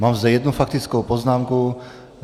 Mám zde jednu faktickou poznámku.